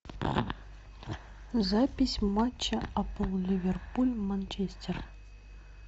запись матча апл ливерпуль манчестер